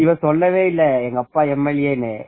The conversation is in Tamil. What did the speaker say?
இவர் சொல்லவே இல்ல எங்க அப்பா MLA னு